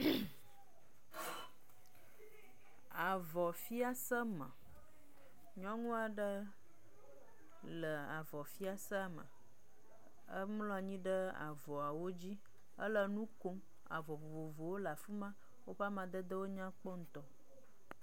Afɔ fiase me; nyɔnua ɖe le avɔ fiasa me, emlɔnyi ɖe avɔawo dzi, hele nu kom. Avɔ vovovowo le afima, woƒe amadedewo nya kpɔ ŋutɔ.